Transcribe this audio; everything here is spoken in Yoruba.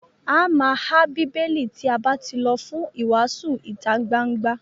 A má há Bíbélì tí a bá tí lọ fún ìwàásù ìtagbangba.